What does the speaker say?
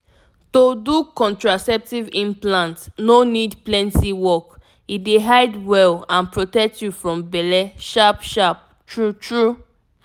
to do contraceptive implant no need plenty work — e dey hide well and protect you from belle sharp-sharp true-true.